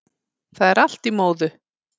Það er allt í móðu